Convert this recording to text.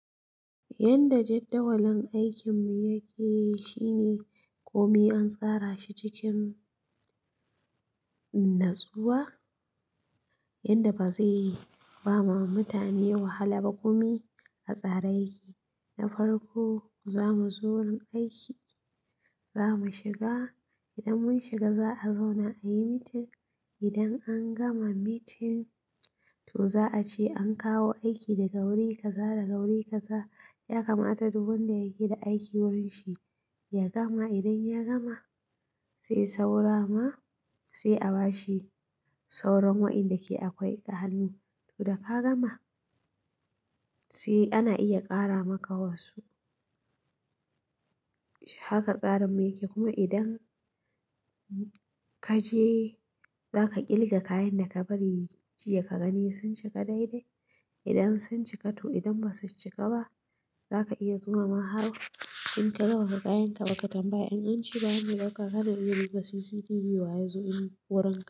Yanda jadawalin aikin mu yake shine komi an tsara shi cikin natsuwa yanda bazai bama mutane wahala ba. Komi a tsare yake na farko zamu zo wurin aiki, zamu shiga idan mun shiga za'a zauna ayi meeting idan angama meeting to za'a ce ankawo aiki daga guri kaza daga guri kaza yakamata duk wanda yake da aiki wurinshi yagama idan ya gama sai saura ma sai a bashi sauran waɗanda ke akwai 'ahannu. To da ka gama sai ana iya ƙara maka wasu. Haka tsarin mu yake kuma idan ka je zaka ƙilga kayan da ka bari jiya ka gani sun cika daidai idan sun cika to idan basu cika ba zaka iya zuwa ma har inkaga bakaga kayanka ba katambaya in ance ba wanda ya dauka kana iya duba cctv wayazo wurinka.